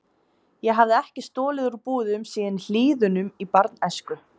Ég hafði ekki stolið úr búðum síðan í Hlíðunum í barnæsku.